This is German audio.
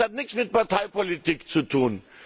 Das hat nichts mit Parteipolitik zu tun.